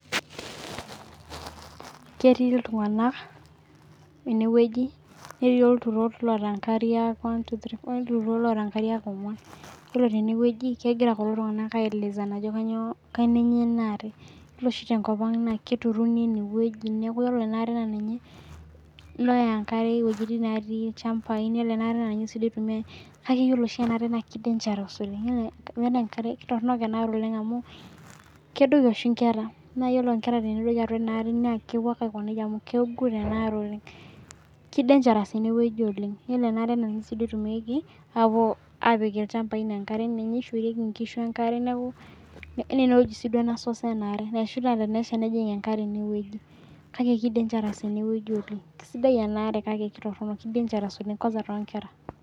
Ketii iltung'ana eneweji neeti iturot loota inkariak one two three olturot loota inkariak ong'uan iyiolo teneweji kegira kulo tung'ana ai elezana ajo kainyoo kenenyo ena are. Ore oshi tenkop ang naa keturuni enweji neeku ore ena are na ninye naya enkare iwejitin naati ilchambai. Ore ena are naa ninye sii duo itumiae. Kake ore ena are sii duo naa ninye dangerous oleng' amu ore enkare, kitoronok ena are amu kedoki oshi inkera naa ore inkera tenedoli atua ena are naa kipuo ake amu kegut ena are aleng'. Kii Dangerous oleng'. Kisaidia ena are amuu kitumaki apuo apik ilchambai enkare, ninye ishorieki nkishu enkare. Neeku naa eneweji sii source enkare neeku tenijing enkare eneweji kake ki dangerous eneweji oleng'. Kisaidia ena are oleng' kake kitoronok oleng' ki dangerous kwanza too nkera.